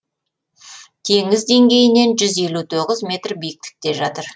теңіз деңгейінен жүз елу тоғыз метр биіктікте жатыр